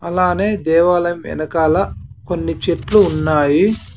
అలానే దేవాలయం వెనకాల కొన్ని చెట్లు ఉన్నాయి.